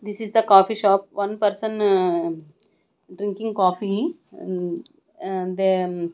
This is the coffee shop one person drinking coffee and and then--